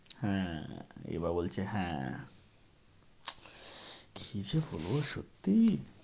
হ্যাঁ, এবার বলছে হ্যাঁ। কী যে লহো, সত্যি!